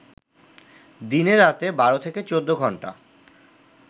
দিনে-রাতে ১২-১৪ ঘন্টা